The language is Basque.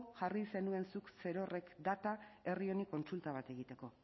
jarri zenuen zuk zerorrek data herri honi kontsulta bat egiteko